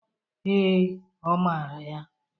Ee, ọ mara ya.